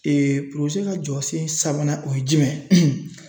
ka jɔsen sabanan o ye jumɛn ye